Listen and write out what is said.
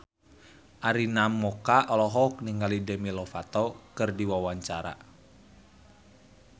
Arina Mocca olohok ningali Demi Lovato keur diwawancara